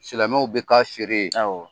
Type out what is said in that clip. Silamɛw bɛ ka feere; Awɔ.